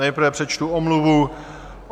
Nejprve přečtu omluvu.